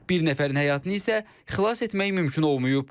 Bir nəfərin həyatını isə xilas etmək mümkün olmayıb.